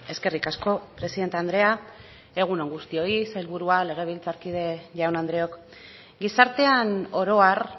eskerrik asko presidente andrea egun on guztioi sailburua legebiltzarkide jaun andreok gizartean oro har